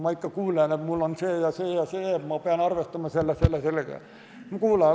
Ma ikka kuulen, et mul on see ja see, ma pean arvestama selle, selle ja sellega.